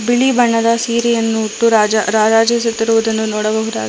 ಬಿಳಿ ಬಣ್ಣದ ಸೀರೆಯನ್ನು ಹುಟ್ಟು ರಾಜ ರಾರಾಜಿಸುತ್ತಿರುವುದನ್ನು ನೋಡಬಹುದಾಗಿದೆ.